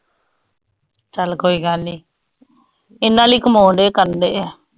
ਚਲ ਕੋਈ ਗੱਲ ਨੀ ਇਨਾ ਲੀਯੇ ਕਮੌਂਦੇ ਕਰਦੇ ਆ